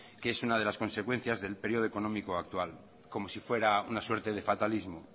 que es una de las consecuencias del periodo económico actual como si fuera una suerte de fatalismo